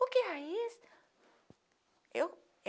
Por que raiz?